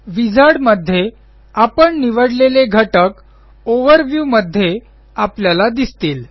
wizard मध्ये आपण निवडलेले घटक ओव्हरव्यू मध्ये आपल्याला दिसतील